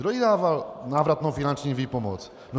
Kdo jí dával návratnou finanční výpomoc?